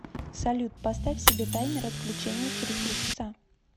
салют поставь себе таймер отключения через три часа